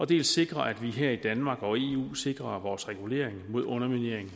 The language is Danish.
dels sikrer at vi her i danmark og i eu sikrer vores regulering mod underminering